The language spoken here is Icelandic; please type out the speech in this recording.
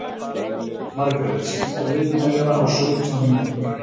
Margret, stilltu niðurteljara á sautján mínútur.